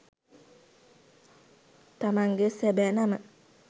තමන්ගේ සැබෑ නම